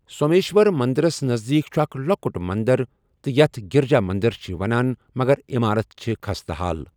سومیشور مندرَس نزدیٖک چھُ اکھ لوٚکُٹ مندر تہِ یتھ گریجا مندر چھِ وَنان مگر عِمارت چھِ خستہٕ حال۔